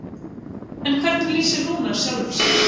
En hvernig lýsir Rúnar sjálfum sér?